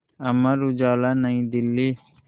Amar Ujala New Delhi